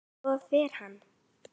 Svo fer hann.